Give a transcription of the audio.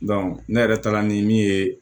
ne yɛrɛ taara ni min ye